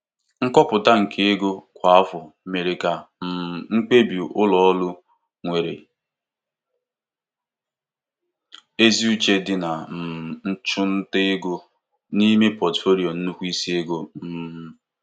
Nkọpụta nke ego kwa afọ mere ka um mkpebi ụlọ ọrụ nwere ezi uche dị na um nchụnta ego n'ime pọtufoliyo nnukwu isi ego. um